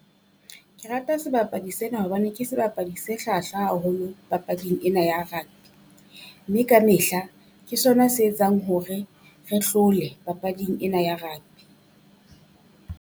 Ke rata sebapadi sena hobane ke sebapadi se hlwahlwa haholo papading ena ya rugby, mme ka mehla ke sona se etsang hore re hlole papading ena ya rugby.